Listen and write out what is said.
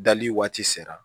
Dali waati sera